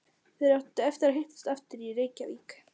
Þeir áttu eftir að hittast aftur í Reykjavík.